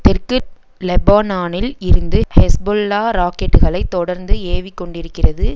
தெற்கு லெபனானில் இருந்து ஹெஸ்பொல்லா ராக்கெட்டுக்களை தொடர்ந்து ஏவிக் கொண்டிருக்கிறது